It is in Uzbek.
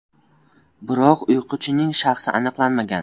Biroq “uyquchi”ning shaxsi aniqlanmagan.